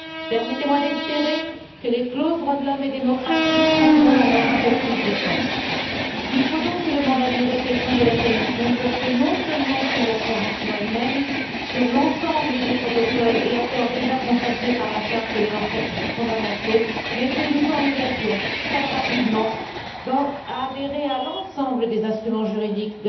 Permettez moi d'espérer que les clauses droits de l'homme et démocratie prendront alors un peu plus de sens. Il faut donc que non seulement le mandat de négociation de la Commission porte sur la convention elle même, sur l'ensemble des protocoles et accords déjà consacrés par la Charte des droits fondamentaux mais que nous nous engagions très rapidement à adhérer à l'ensemble des instruments juridiques